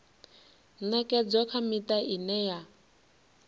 ṅekedzwa kha miṱa ine ya